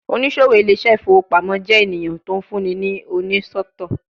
Onisowo Ile ise ifowo pamo jẹ eniyan ti o funni ni onisọtọ